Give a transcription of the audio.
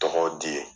Tɔgɔw di ye